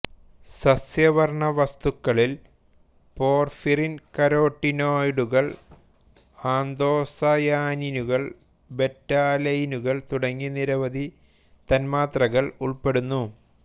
സസ്യവർണ്ണവസ്തുക്കളിൽ porphyrin കരോട്ടിനോയിഡുകൾ ആന്തോസയാനിനുകൾ ബെറ്റാലെയിനുകൾ തുടങ്ങി നിരവധി തന്മാത്രകൾ ഉൾപ്പെടുന്നു